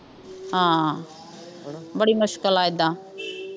ਹਾਂ ਬੜੀ ਮੁਸ਼ਕਿਲ ਆ ਏਦਾਂ